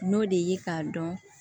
N'o de ye k'a dɔn